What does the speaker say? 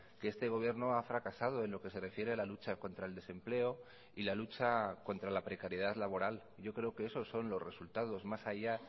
que este gobierno ha fracasado en lo que se refiere a la lucha contra el desempleo y la lucha contra la precariedad laboral yo creo que esos son los resultados más allá